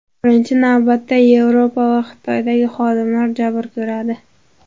Birinchi navbatda Yevropa va Xitoydagi xodimlar jabr ko‘radi.